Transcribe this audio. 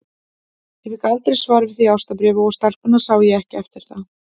Ég fékk aldrei svar við því ástarbréfi, og stelpuna sá ég ekki eftir það.